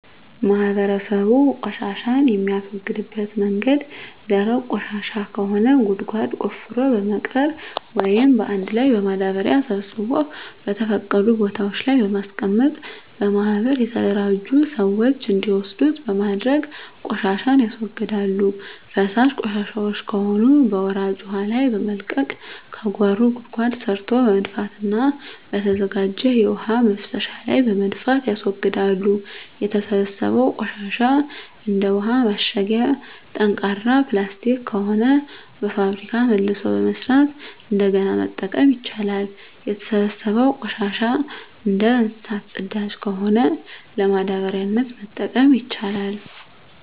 ማህበረሰቡ ቆሻሻን የሚያስወግድበት መንገድ ደረቅ ቆሻሻ ከሆነ ጉድጓድ ቆፍሮ በመቅበር ወይም አንድ ላይ በማዳበሪያ ሰብስቦ በተፈቀዱ ቦታወች ላይ በማስቀመጥ በማህበር የተደራጁ ስዎች እንዲወስዱት በማድረግ ቆሻሻን ያስወግዳሉ። ፈሳሽ ቆሻሻወች ከሆኑ በወራጅ ውሀ ላይ በመልቀቅ ከጓሮ ጉድጓድ ሰርቶ በመድፋትና በተዘጋጀ የውሀ መፍሰሻ ላይ በመድፋት ያስወግዳሉ። የተሰበሰበው ቆሻሻ እንደ ውሀ ማሸጊያ ጠንካራ ፕላስቲክ ከሆነ በፋብሪካ መልሶ በመስራት እንደገና መጠቀም ይቻላል። የተሰበሰበው ቆሻሻ እንደ እንሰሳት ፅዳጅ ከሆነ ለማዳበሪያነት መጠቀም ይቻላል።